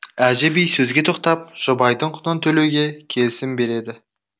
әжі би сөзге тоқтап жұбайдың құнын төлеуге келісім береді